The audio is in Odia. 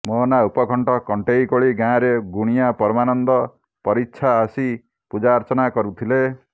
ମୋହନା ଉପକଣ୍ଠ କଣ୍ଟେଇକୋଳି ଗାଁରେ ଗୁଣିଆ ପରମାନନ୍ଦ ପରିଚ୍ଛା ଆସି ପୂଜାର୍ଚ୍ଚନା କରୁଥିଲେ